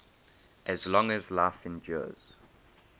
as long as life endures